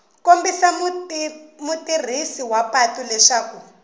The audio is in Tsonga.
kombisa mutirhisi wa patu leswaku